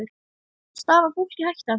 Stafar fólki hætta af þessu?